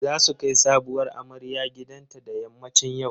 Za su kai sabuwar amarya gidanta da yammacin yau.